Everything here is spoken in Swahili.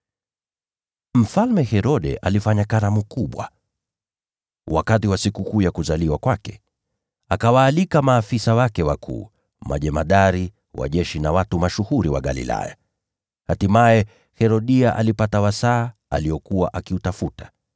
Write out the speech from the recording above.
Mfalme Herode alifanya karamu kubwa wakati wa sikukuu ya kuzaliwa kwake. Akawaalika maafisa wake wakuu, majemadari wa jeshi na watu mashuhuri wa Galilaya. Hatimaye Herodia alipata wasaa aliokuwa akiutafuta.